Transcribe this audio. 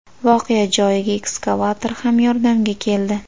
Voqea joyiga ekskavator ham yordamga keldi.